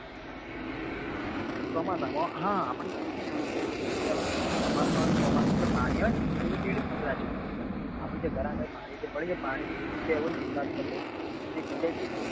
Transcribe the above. ચોમાસા માં હા આપડે એ બી જોઈએ કે પર્યાવરણ નું ચોમાસું આવે ને ચોમાસા માં જે પાણી આવે આપડે એને વેડફવું નાં જોઈએ આપડે જે ઘર આગળ જે પાણી જે પડ્યું રે પાણી નો એવી જગ્યા એ નિકાલ કરવો જે એક જગ્યા એ ભેગું થાય